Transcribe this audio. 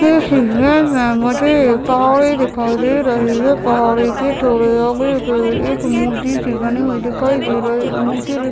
कैसे हे हैं मुझे एक पहाड़े दिखाई दे रही हैं पहाड़े के थोड़े आगे का एक मूर्ति सी बनी दिखाई दे रही हैं मूर्ति--